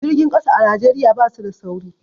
Jirgin ƙasa a Najeriya basu da sauri